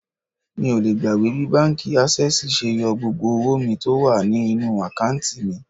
Mi ò lè gbàgbé bí báńkì Ásẹ́sìì ṣe yọ gbogbo owó mi tó wà ní inú àkántì mi.